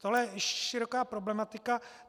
Tohle je široká problematika.